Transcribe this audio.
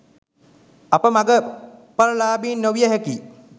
අප මග ඵල ලාබීන් නොවිය හැකියි